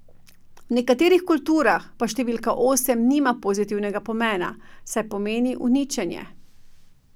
V nekaterih kulturah pa številka osem nima pozitivnega pomena, saj pomeni uničenje.